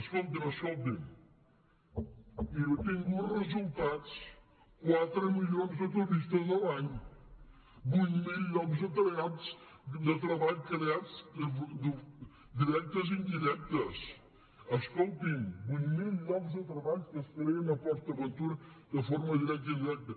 escoltin escoltin i ha obtingut resultats quatre milions de turistes l’any vuit mil llocs de treball creats directes i indirectes escoltin vuit mil llocs de treball que es creen a port aventura de forma directa i indirecta